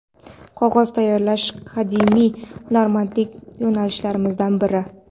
Qog‘oz tayyorlash qadimiy hunarmandlik yo‘nalishlarimizdan biri.